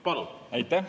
Palun!